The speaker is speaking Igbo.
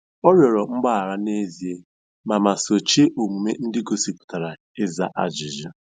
Ọ rịọrọ mgbaghara n'ezie ma ma sochie omume ndị gosipụtara ịza ajụjụ.